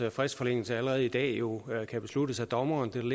at fristforlængelse allerede i dag jo kan besluttes af dommeren det